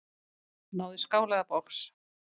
Náðu í skál eða box.